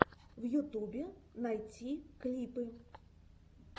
в ютубе найти клипы